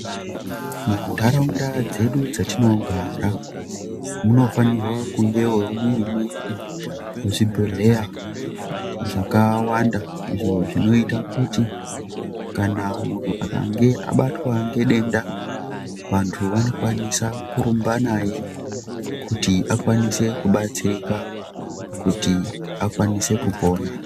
Munharaunda dzedu dzatinogara munofanirwa kungewo mune zvibhehelya zvakawanda izvo zvinoita kuti kana muntu akanga abatwa ngedenda vantu vanokwanise kurumba naye kuti akwanise kubatsirika kuti akwanise kupona.